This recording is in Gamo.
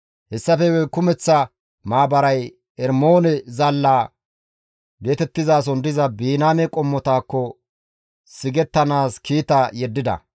Hessafe guye kumeththa maabaray Ermoone zaalla geetettizason diza Biniyaame qommotakko sigettanaas kiita yeddida.